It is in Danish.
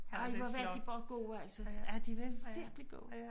Ej hvor var de bare gode altså ja de var virkelig gode